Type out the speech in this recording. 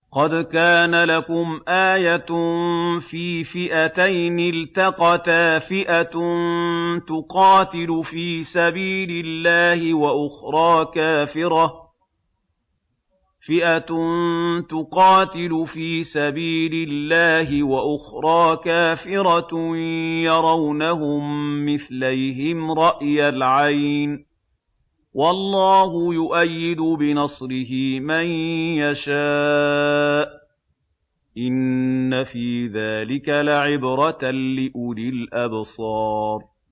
قَدْ كَانَ لَكُمْ آيَةٌ فِي فِئَتَيْنِ الْتَقَتَا ۖ فِئَةٌ تُقَاتِلُ فِي سَبِيلِ اللَّهِ وَأُخْرَىٰ كَافِرَةٌ يَرَوْنَهُم مِّثْلَيْهِمْ رَأْيَ الْعَيْنِ ۚ وَاللَّهُ يُؤَيِّدُ بِنَصْرِهِ مَن يَشَاءُ ۗ إِنَّ فِي ذَٰلِكَ لَعِبْرَةً لِّأُولِي الْأَبْصَارِ